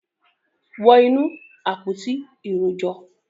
wọ inú “àpótí ìrojọ́”.